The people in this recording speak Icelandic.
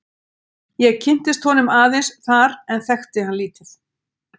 Ég kynntist honum aðeins þar en þekkti hann lítið.